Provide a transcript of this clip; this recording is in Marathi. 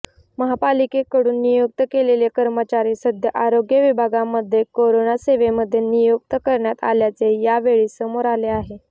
महापालिकेकडून नियुक्त केलेले कर्मचारी सध्या आरोग्य विभागामध्ये करोना सेवेमध्ये नियुक्त करण्यात आल्याचे यावेळी समोर आले